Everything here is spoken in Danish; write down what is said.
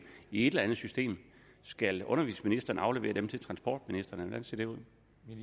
i et eller andet system skal undervisningsministeren aflevere dem til transportministeren ser det ud